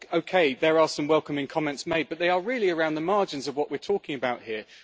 Okay, there are some welcoming comments, but they are really around the margins of what we're talking about here.